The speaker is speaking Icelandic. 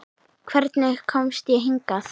Hvernig komst ég hingað?